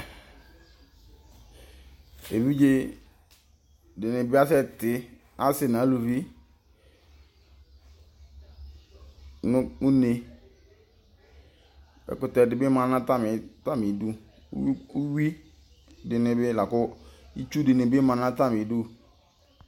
Evidze dɩnɩ bɩ asɛtɩ, asɩ nʋ aluvi nʋ une, ɛkʋtɛ dɩ bɩ ma nʋ atamɩ idu, uyui dɩnɩ la kʋ itsu dɩnɩ bɩ ma nʋ atamɩ idu